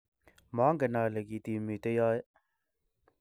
maangen ale kitiimite yoe